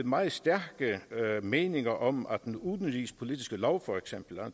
meget stærke meninger om at den udenrigspolitiske lov for eksempel